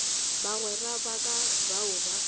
bagwera ba ka bao ba